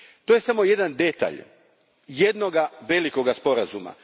To je samo jedan detalj jednoga velikoga sporazuma.